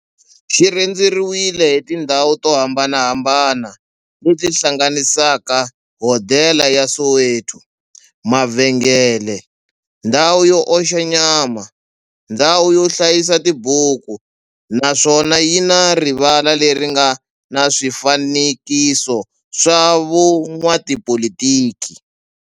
Xi rhendzeriwile hi tindhawu to hambanahambana le ti hlanganisaka, hodela ya Soweto, mavhengele, ndhawu yo oxa nyama, ndhawu yo hlayisa tibuku, naswona yi na rivala le ri nga na swifanekiso swa vo n'watipolitiki.